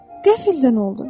Qəfildən oldu.